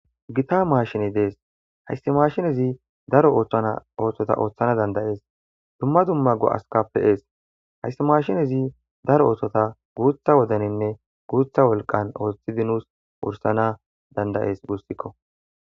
gita maashine dees hayssi mashinezi daro oththota ooththana dandayees dumma dumma go7askappeees hayssi maashinezi daro oothota guutha wodaninne guutha wolqan ooththidi nusi wursana dandayees gussikko.